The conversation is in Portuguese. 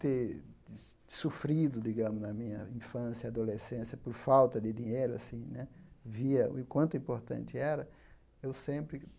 Ter sofrido, digamos, na minha infância, adolescência, por falta de dinheiro assim né, via o quanto importante era eu sempre.